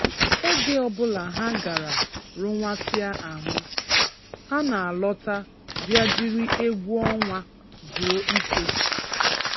Oge ọbụla ha gara rụwasịa ahụ, ha na–alọta bịa jiri egwu ọnwa zuo ike.